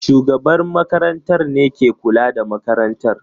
shugaban makarantar ne ke kula da makarantar